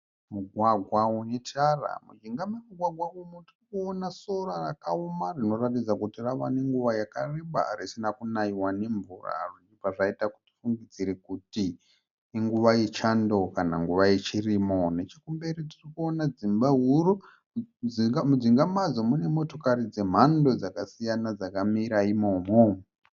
Mugwagwa unetara. Mujinga momugwagwa umu tiri kuona sora rakaoma rinoratidza rave nenguva yakareba risina kunayiwa nemvura zvichibva zvaita kuti tifungidzire kuti inguva yachando kana kuti inguva yechirimo. Nechekumberi tirikuona dzimba huru mujinga madzo mune motokari dzemhando dzakasiyana dzakamira imomo.